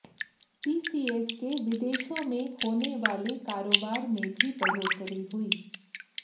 TCS के विदेशों में होने वाले कारोबार में भी बढ़ोतरी हुई